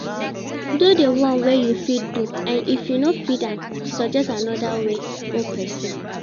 Do di one wey you fit do and if you no fit am suggest another way or persin